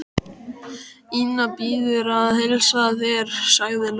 Ína biður að heilsa þér, sagði Lóa.